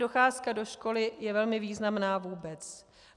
Docházka do školy je velmi významná vůbec.